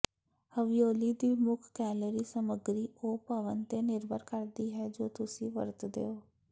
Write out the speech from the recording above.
ravioli ਦੀ ਮੁੱਖ calorie ਸਮੱਗਰੀ ਉਹ ਭਰਨ ਤੇ ਨਿਰਭਰ ਕਰਦੀ ਹੈ ਜੋ ਤੁਸੀਂ ਵਰਤਦੇ ਹੋ